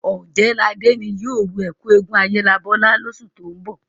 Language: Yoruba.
Ọ̀jẹ̀ẹ́làdé ni yóò ru ẹ́kú eégún Ayélabọ́lá lósù tó ń bọ̀